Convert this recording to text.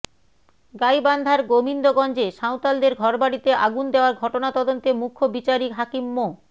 গাইবান্ধার গোবিন্দগঞ্জে সাঁওতালদের ঘরবাড়িতে আগুন দেয়ার ঘটনা তদন্তে মুখ্য বিচারিক হাকিম মো